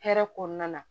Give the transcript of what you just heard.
Hɛrɛ kɔnɔna na